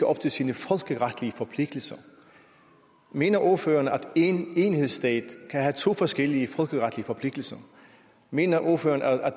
op til sine folkeretlige forpligtelser mener ordføreren at en enhedsstat kan have to forskellige folkeretlige forpligtelser mener ordføreren